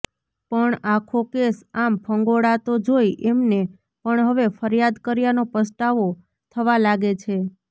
પણ આખો કેસ આમ ફંગોળાતો જોઈ એમને પણ હવે ફરિયાદ કર્યાનો પસ્તાવો થવા લાગે છે